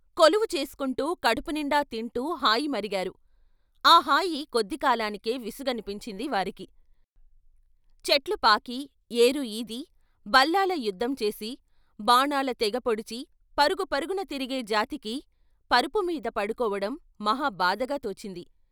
కొలువు చేసుకుంటూ కడుపు నిండా తింటూ హాయి మరిగారు, ఆ హాయి కొద్ది కాలానికే విసుగనిపించింది వారికి చెట్లు పాకీ, ఏరు ఈది, బల్లాల యుద్ధం చేసి, బాణాల తెగ పొడిచి పరుగు పరుగున తిరిగే జాతికి పరుపు మీద పడుకోవడం మహా బాధగా తోచింది.